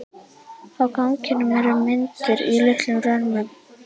Á ganginum eru myndir í litlum römmum.